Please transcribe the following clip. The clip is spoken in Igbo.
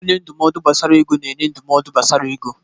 Onye ndụmọdụ gbasara ego na-enye ndụmọdụ gbasara ego.